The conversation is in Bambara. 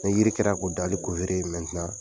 Neijiri kɛra k'o dali